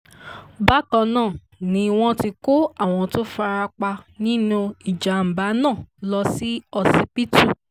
bákan náà ni wọ́n ti kó àwọn tó fara pa nínú ìjàm̀bá náà lọ sí ọsibítù